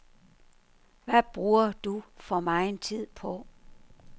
Hvad bruger du for megen tid på.